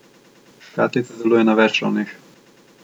Škatlica deluje na več ravneh.